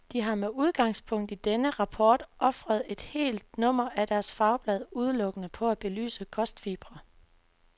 De har med udgangspunkt i denne rapport ofret et helt nummer af deres fagblad udelukkende på at belyse kostfibre.